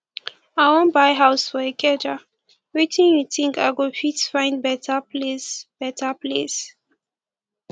i wan buy house for ikeja wetin you think i go fit find beta place beta place